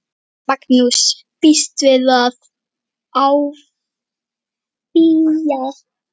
Magnús: Býstu við að áfrýja?